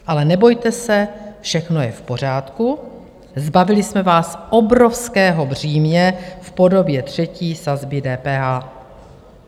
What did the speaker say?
Ale nebojte se, všechno je v pořádku, zbavili jsme vás obrovského břímě v podobě třetí sazby DPH."